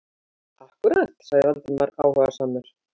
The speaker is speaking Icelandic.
Akkúrat- sagði Valdimar áhugasamur.